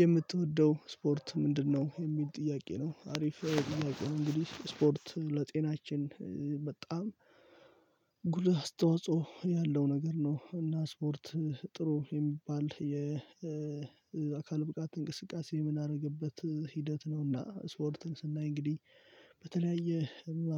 የምትወደው ስፖርት ምንድነው የሚል ጥያቄ ነው? አሪፍ ጥያቄ ነው እንግዲህ ስፖርት ለጤናችን በጣም ጉልህ አስተዋጽኦ ያለው ነገር ነው። እና ስፖርት ጥሩ የሚባል የአካል ብቃት እንቅስቃሴ የምናደርግበት ሂደት ነውና ስወርትን ስናይ እንግዲህ በተለያየ